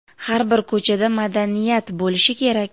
har bir ko‘chada madaniyat bo‘lishi kerak.